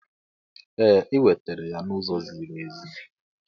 Ee, ị nwetara ya n'ụzọ ziri ezi.